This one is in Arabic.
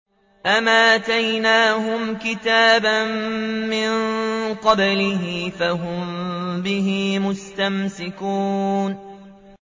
أَمْ آتَيْنَاهُمْ كِتَابًا مِّن قَبْلِهِ فَهُم بِهِ مُسْتَمْسِكُونَ